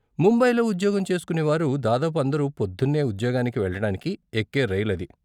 ముంబైలో ఉద్యోగం చేస్కునేవారు దాదాపు అందరూ పొద్దున్నే ఉద్యోగానికి వెళ్ళటానికి ఎక్కే రైలు అది.